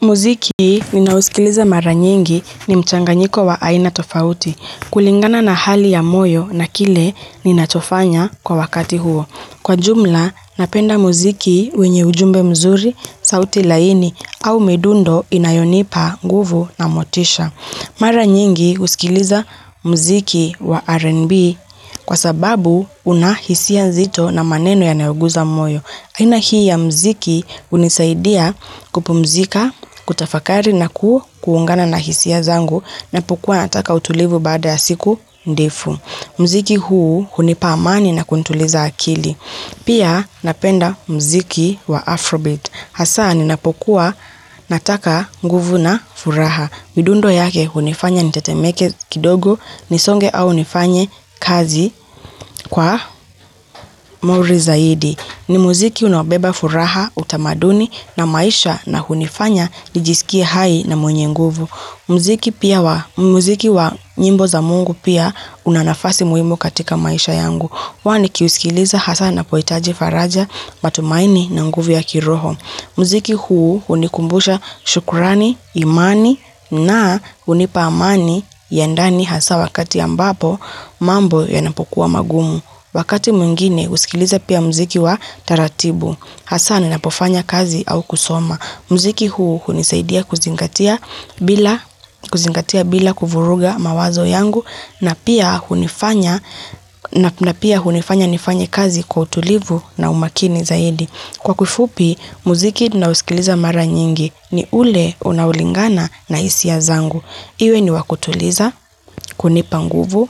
Muziki ninao sikiliza mara nyingi ni mchanganyiko wa aina tofauti, kulingana na hali ya moyo na kile ninachofanya kwa wakati huo. Kwa jumla, napenda muziki wenye ujumbe mzuri, sauti laini au midundo inayonipa nguvu na motisha. Mara nyingi husikiliza muziki wa R&B kwa sababu una hisia nzito na maneno yanayo guza moyo. Aina hii ya muziki hunisaidia kupumzika, kutafakari na kuungana na hisia zangu napokuwa nataka utulivu bada ya siku ndefu. Muziki huu, hunipa amani na kunituliza akili. Pia napenda muziki wa Afrobeat. Hasa ninapokuwa nataka nguvu na furaha. Midundo yake hunifanya nitetemeke kidogo, nisonge au nifanye kazi kwa mori zaidi. Ni muziki unaobeba furaha, utamaduni na maisha na hunifanya nijisikie hai na mwenye nguvu. Muziki pia wa, muziki wa nyimbo za mungu pia una nafasi muhimu katika maisha yangu. Huwa nikiusikiliza hasa ninapo hitaji faraja, matumaini na nguvu ya kiroho. Muziki huu hunikumbusha shukrani, imani na hunipa amani ya ndani hasa wakati ambapo mambo yanapokuwa magumu. Wakati mwingine, husikiliza pia muziki wa taratibu. Hasa ninapofanya kazi au kusoma. Muziki huu, hunisaidia kuzingatia bila kuvuruga mawazo yangu na pia hunifanya nifanye kazi kwa utulivu na umakini zaidi. Kwa kifupi, muziki ninao usikiliza mara nyingi ni ule unao lingana na hisia zangu. Iwe ni wa kutuliza, kunipa nguvu,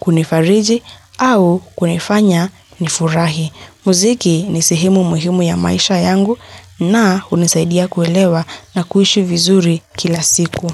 kunifariji au kunifanya nifurahi. Muziki ni sehemu muhimu ya maisha yangu na hunisaidia kuelewa na kuishi vizuri kila siku.